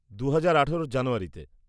দু'হাজার আঠেরোর জানুয়ারিতে।